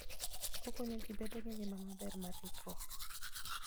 Okonyo ji bedo gi ngima maber mar ritruok.